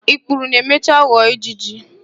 Ikpuru na-emecha ghọọ ijiji.